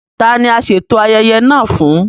Tá ní a ṣeto ayẹyẹ naa fún?